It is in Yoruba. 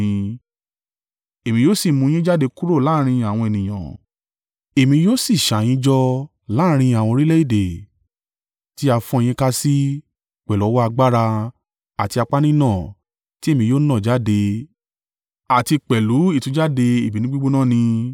Èmi yóò si mú yín jáde kúrò láàrín àwọn ènìyàn, èmi yóò sì ṣà yín jọ láàrín àwọn orílẹ̀-èdè tí a fọ́n yín sí pẹ̀lú ọwọ́ agbára àti apá nínà tí èmi yóò nà jáde àti pẹ̀lú ìtújáde ìbínú gbígbóná ni.